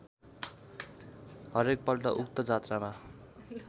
हरेकपल्ट उक्त जात्रामा